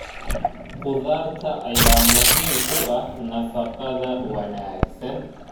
Khudaarta ayaa muhiim u ah nafaqada wanaagsan.